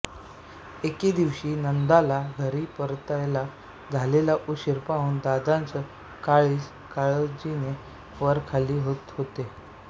एके दिवशी नंदाला घरी परतायला झालेला उशीर पाहून दादांचं काळीज काळजीने वरखाली होत होतं